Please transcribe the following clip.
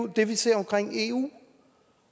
det vi ser om eu